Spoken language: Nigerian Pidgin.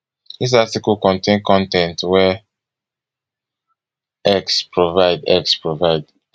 dis article contain con ten t wey x provide x provide